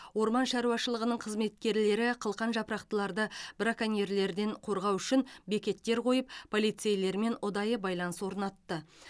орман шаруашылығының қызметкерлері қылқан жапырақтыларды браконьерлерден қорғау үшінбекеттер қойып полицейлермен ұдайы байланыс орнатты